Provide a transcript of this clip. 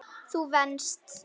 Þú venst.